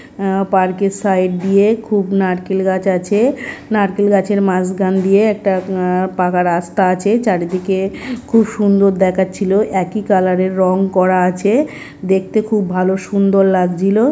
আ park এর side দিয়ে খুব নারকেল গাছ আছে। নারকেল গাছের মাঝখান দিয়ে একটা আ পাকা রাস্তা আছে। চারিদিকে খুব সুন্দর দেখাচ্ছিলো। একই কালার এর রং করা আছে। দেখতে খুব ভালো সুন্দর লাগছিল।